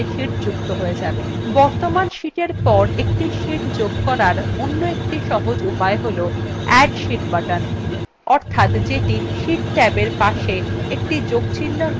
বর্তমান sheetএর পর একটি sheet যোগ করার অন্য একটি সহজ উপায় হল add sheet button অর্থাৎ যেটি sheet ট্যাবএর পাশের একটি যোগচিহ্ন হিসাবে দেখা যাচ্ছে সেটিতে ক্লিক করা